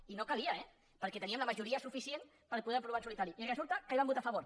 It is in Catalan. i no calia eh perquè teníem la majoria suficient per poder ho aprovar en solitari i resulta que hi van votar a favor